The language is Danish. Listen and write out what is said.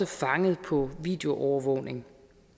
fanget på videoovervågningen